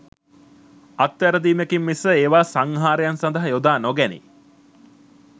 අත්වැරදීමකින් මිස ඒවා සංහාරයන් සඳහා යොදා නොගැනේ